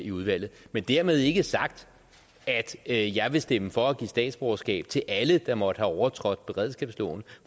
i udvalget men dermed ikke sagt at jeg vil stemme for at give statsborgerskab til alle der måtte have overtrådt beredskabsloven